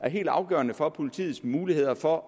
helt afgørende for politiets muligheder for